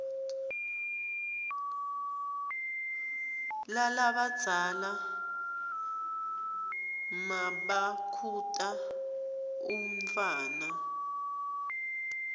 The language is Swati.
lalabadzala nmabakhuta umntfwana